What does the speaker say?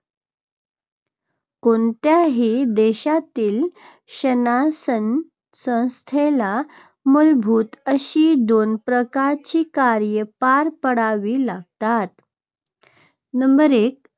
कोणत्याही देशातील शासनसंस्थेला मूलभूत अशी दोन प्रकारची कार्ये पार पाडावी लागतात. नंबर एक,